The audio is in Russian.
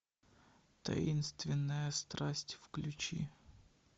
таинственная страсть включи